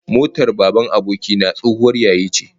My friend's father's car was an old model